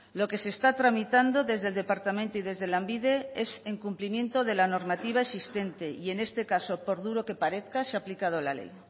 lo que se está tramitando desde el departamento y desde lanbide es en cumplimiento de la normativa existente y en este caso por duro que parezca se ha aplicado la ley